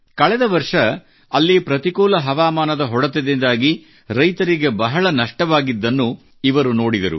ಕಳೆದ ವರ್ಷ ಅಲ್ಲಿ ಪ್ರತಿಕೂಲ ಹವಾಮಾನದ ಹೊಡೆತದಿಂದಾಗಿ ರೈತರಿಗೆ ಬಹಳಷ್ಟು ನಷ್ಟವಾಗಿದ್ದನ್ನು ಇವರು ನೋಡಿದರು